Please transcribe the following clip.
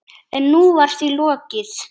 En nú var því lokið.